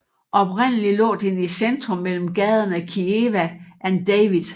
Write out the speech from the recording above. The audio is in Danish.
Oprindeligt lå den i centrum mellem gaderne Kiewa and David